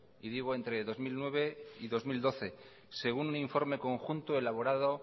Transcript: y digo entre dos mil nueve y dos mil doce según un informe conjunto elaborado